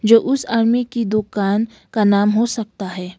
जो उस आरमी की दुकान का नाम हो सकता है।